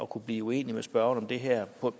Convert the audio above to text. kunne blive uenig med spørgeren om det her